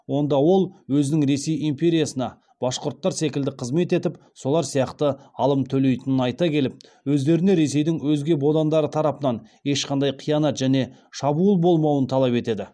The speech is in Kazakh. онда ол өзінің ресей империясына башқұрттар секілді қызмет етіп солар сияқты алым төлейтінін айта келіп өздеріне ресейдің өзге бодандары тарапынан ешқандай қиянат және шабуыл болмауын талап етеді